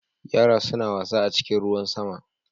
Yara suna wasa a cikin ruwan sama.